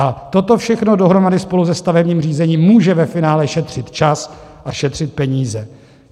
A toto všechno dohromady spolu se stavebním řízením může ve finále šetřit čas a šetřit peníze.